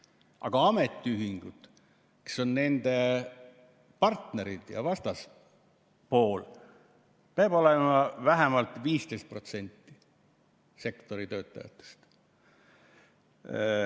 Aga ametiühingutes, kes on nende partnerid ja vastaspool, peab olema vähemalt 15% sektori töötajatest.